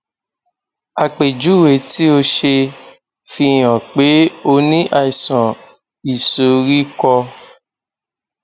àpèjúwe tí o ṣe fihàn pé o ní àìsàn ìsoríkọ